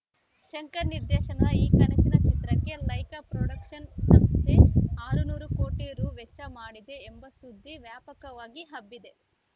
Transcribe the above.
ಶಂಕರ್‌ ನಿರ್ದೇಶನದ ಈ ಕನಸಿನ ಚಿತ್ರಕ್ಕೆ ಲೈಕಾ ಪ್ರೊಡಕ್ಷನ್ಸ್‌ ಸಂಸ್ಥೆ ಆರುನೂರು ಕೋಟಿ ರು ವೆಚ್ಚ ಮಾಡಿದೆ ಎಂಬ ಸುದ್ದಿ ವ್ಯಾಪಕವಾಗಿ ಹಬ್ಬಿದೆ